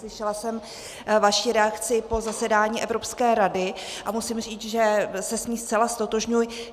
Slyšela jsem vaši reakci po zasedání Evropské rady a musím říct, že se s ní zcela ztotožňuji.